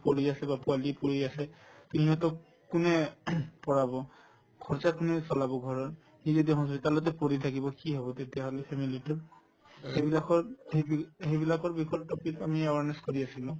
আছে বা পোৱালিক লৈ আছে তে সিহঁতক কোনে পঢ়াব খৰচা কোনে চলাব ঘৰৰ সি যদি hospital তে পৰি থাকিব কি হব তেতিয়াহলে family তোৰ সিবিলাক সিবিলাকৰ বিষয়ত topic আমি awareness কৰি আছিলো